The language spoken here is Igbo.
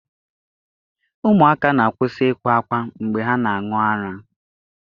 Ụmụaka na-akwụsị ịkwa ákwá mgbe ha na-aṅụ ara.